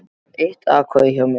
Þú færð eitt atkvæði hjá mér.